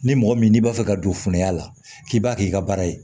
Ni mɔgɔ min n'i b'a fɛ ka don funuya la k'i b'a kɛ i ka baara ye